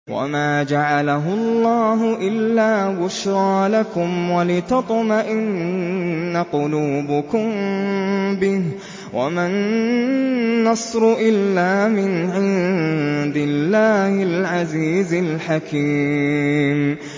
وَمَا جَعَلَهُ اللَّهُ إِلَّا بُشْرَىٰ لَكُمْ وَلِتَطْمَئِنَّ قُلُوبُكُم بِهِ ۗ وَمَا النَّصْرُ إِلَّا مِنْ عِندِ اللَّهِ الْعَزِيزِ الْحَكِيمِ